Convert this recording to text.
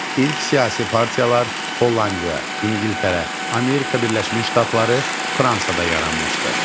İlk siyasi partiyalar Hollandiya, İngiltərə, Amerika Birləşmiş Ştatlarında və Fransada yaranmışdı.